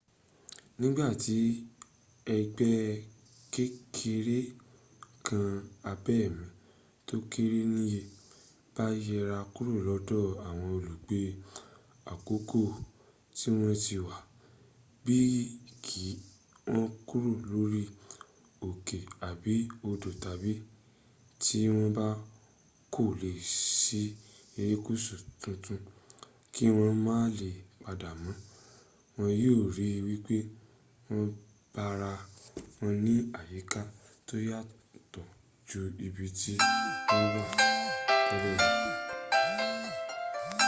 nígbà tí ẹgbẹ́ kékeré nǹkan abẹ̀mí tó kéré níye bá yẹra kúrò lọ́dọ̀ àwọn olùgbé àkọ́kọ́ tíwọ́n ti wá bí i kí wọ́n kúrò lórí òkè àbí odò tàbí tí wọ́n bá kó lọ sí erékùsù tuntun kí wọ́n má lè padà mọ́ wọ́n yíò ri wípé wọ́n bára wọn ní àyíká tó yàtọ̀ ju ibi tí wọ́n wà tẹ́lẹ̀ lọ